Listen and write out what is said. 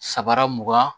Sabara mugan